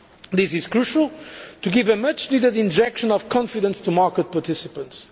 This is crucial, to give a much needed injection of confidence to market participants.